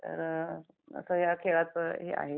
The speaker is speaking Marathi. तर आता या खेळात हे आहे.